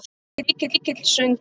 Mikill söngur.